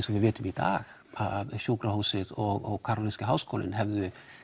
og við vitum í dag að sjúkrahúsið og karolinski háskólinn hefðu